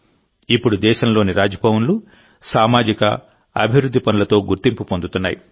ఇప్పుడు దేశంలోని రాజ్భవన్లు సామాజిక అభివృద్ధి పనులతో గుర్తింపు పొందుతున్నాయి